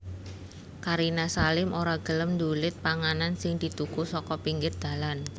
Karina Salim ora gelem ndulit panganan sing dituku saka pinggir dalan